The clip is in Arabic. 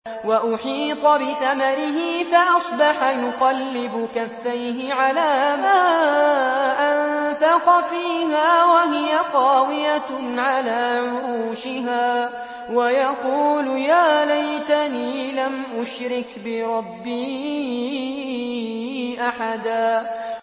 وَأُحِيطَ بِثَمَرِهِ فَأَصْبَحَ يُقَلِّبُ كَفَّيْهِ عَلَىٰ مَا أَنفَقَ فِيهَا وَهِيَ خَاوِيَةٌ عَلَىٰ عُرُوشِهَا وَيَقُولُ يَا لَيْتَنِي لَمْ أُشْرِكْ بِرَبِّي أَحَدًا